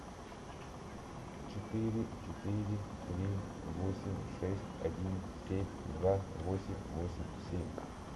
четыре четыре три восемь шесть один семь два восемь восемь семь